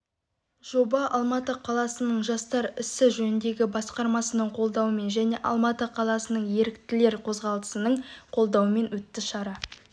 жоба алматы қаласының жастар ісі жөніндегі басқарманың қолдауымен және алматы қаласының еріктілер қозғалысының қолдауымен өтті шара